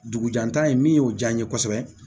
Dugu jantan min y'o diya n ye kosɛbɛ